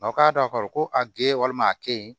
Aw k'a dɔn k'a fɔ ko a gere walima a ke yen